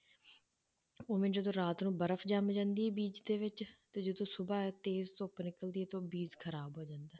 ਉਵੇਂ ਜਦੋਂ ਰਾਤ ਨੂੰ ਬਰਫ਼ ਜਾਂਦੀ ਹੈ ਬੀਜ਼ ਦੇ ਵਿੱਚ ਤੇ ਜਦੋਂ ਸੁਬ੍ਹਾ ਤੇਜ਼ ਧੁੱਪ ਨਿਕਲਦੀ ਹੈ ਤੇ ਉਹ ਬੀਜ਼ ਖ਼ਰਾਬ ਹੋ ਜਾਂਦਾ ਹੈ।